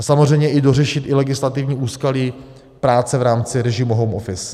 A samozřejmě dořešit i legislativní úskalí práce v rámci režimu home office.